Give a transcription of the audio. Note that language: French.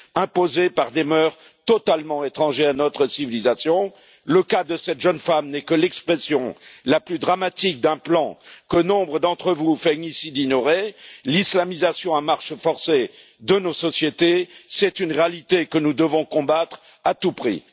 imposés par des mœurs totalement étrangères à notre civilisation. Le cas de cette jeune femme n'est que l'expression la plus dramatique d'un plan que nombre d'entre vous feignent ici d'ignorer. L'islamisation à marche forcée de nos sociétés, c'est une réalité que nous devons combattre à tout prix.